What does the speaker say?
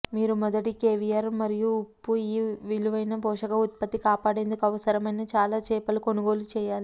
మీరు మొదటి కేవియర్ మరియు ఉప్పు ఈ విలువైన పోషక ఉత్పత్తి కాపాడేందుకు అవసరమైన చాలా చేపలు కొనుగోలు చేయాలి